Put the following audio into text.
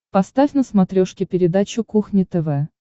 поставь на смотрешке передачу кухня тв